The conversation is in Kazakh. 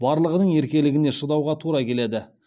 барлығының еркелігіне шыдауға тура келеді